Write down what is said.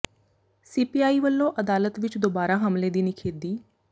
C P I ਵੱਲੋਂ ਅਦਾਲਤ ਵਿੱਚ ਦੋਬਾਰਾ ਹਮਲੇ ਦੀ ਨਿਖੇਧੀ